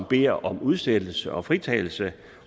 beder om udsættelse og fritagelse